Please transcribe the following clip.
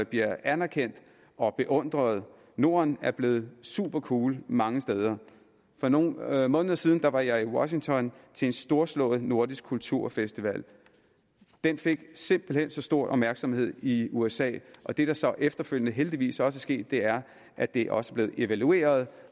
bliver anerkendt og beundret norden er blevet supercool mange steder for nogle måneder siden var var jeg i washington til en storslået nordisk kulturfestival den fik simpelt hen så stor opmærksomhed i usa og det der så efterfølgende heldigvis er sket er at det også er blevet evalueret